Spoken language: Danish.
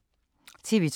TV 2